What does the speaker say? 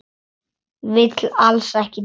Vill alls ekki deyja.